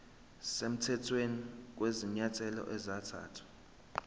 semthethweni kwezinyathelo ezathathwa